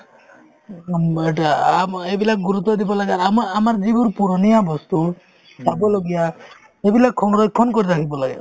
উম, এতিয়া আম এইবিলাক গুৰুত্ব দিব লাগে আমা~ আমাৰ যিবোৰ পুৰণীয়া বস্তু চাবলগীয়া সেইবিলাক সংৰক্ষণ কৰি ৰাখিব লাগে